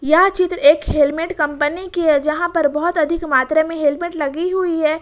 यह चित्र एक हेलमेट कंपनी की है जहां पर बहोत अधिक मात्रा में हेलमेट लगी हुई है।